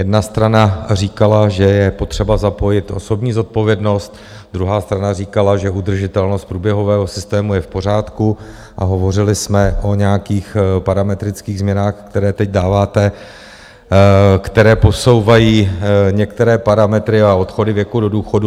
Jedna strana říkala, že je potřeba zapojit osobní zodpovědnost, druhá strana říkala, že udržitelnost průběhového systému je v pořádku a hovořili jsme o nějakých parametrických změnách, které teď dáváte, které posouvají některé parametry a odchody věku do důchodu.